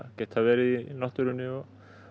geta verið í náttúrunni og